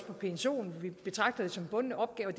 og psoen vi betragter det som en bunden opgave og